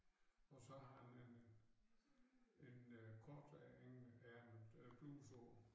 Og så har han en en øh kortærmet øh bluse på